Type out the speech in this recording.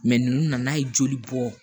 ninnu nana ye joli bɔ